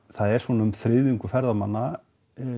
það er svona um þriðjungur ferðamanna